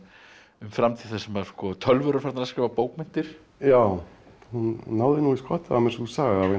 framtíð þar sem tölvur eru farnar að skrifa bókmenntir já hún náði nú í skottið á mér sú saga vegna